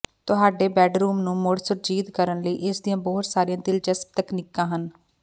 ਤੁਹਾਡੇ ਬੈਡਰੂਮ ਨੂੰ ਮੁੜ ਸੁਰਜੀਤ ਕਰਨ ਲਈ ਇਸ ਦੀਆਂ ਬਹੁਤ ਸਾਰੀਆਂ ਦਿਲਚਸਪ ਤਕਨੀਕਾਂ ਹਨ